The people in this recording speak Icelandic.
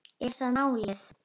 Er það málið?